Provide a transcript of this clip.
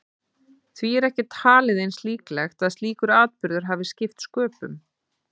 Því er ekki talið eins líklegt að slíkur atburður hafi skipt sköpum.